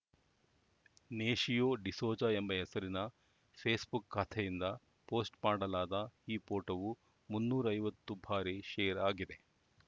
ನೇಶಿಯೋ ಡಿಸೋಜಾ ಎಂಬ ಹೆಸರಿನ ಫೇಸ್‌ಬುಕ್‌ ಖಾತೆಯಿಂದ ಪೋಸ್ಟ್‌ ಮಾಡಲಾದ ಈ ಪೋಟೋವು ಮುನ್ನೂರ್ ಐವತ್ತು ಬಾರಿ ಶೇರ್‌ ಆಗಿದೆ